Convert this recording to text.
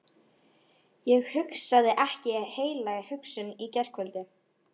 Ég hugsaði ekki heila hugsun í gærkvöldi.